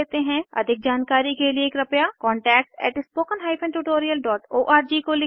अधिक जानकारी के लिए कृपया contactspoken tutorialorg को लिखें